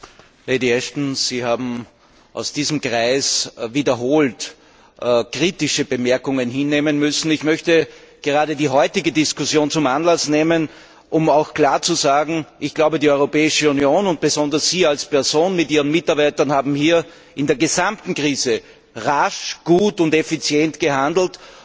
Herr Präsident! Lady Ashton, Sie haben aus diesem Kreis wiederholt kritische Bemerkungen hinnehmen müssen. Ich möchte gerade die heutige Diskussion zum Anlass nehmen, um klar zu sagen Die Europäische Union und besonders Sie als Person mit Ihren Mitarbeitern haben hier in der gesamten Krise rasch, gut und effizient gehandelt.